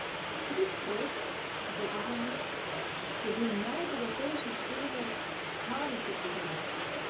Stric Fred, zobozdravnik, je bil najbogatejši človek, kar jih je poznala.